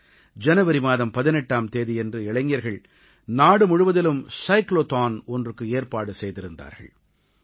ஜனவரி மாதம் 18ஆம் தேதியன்று இளைஞர்கள் நாடுமுழுவதிலும் சைக்ளோதான் ஒன்றுக்கு ஏற்பாடு செய்திருந்தார்கள்